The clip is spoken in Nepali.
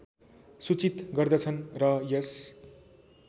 सूचित गर्दछन् र यस